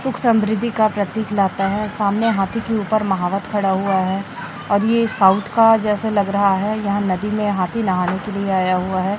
सुख समृद्धि का प्रतीक लाता है सामने हाथी के ऊपर महावत खड़ा हुआ है और ये साउथ का जैसे लग रहा है यहां नदी में हाथी नहाने के लिए आया हुआ है।